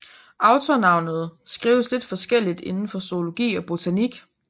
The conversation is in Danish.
Autornavnet skrives lidt forskelligt inden for zoologi og botanik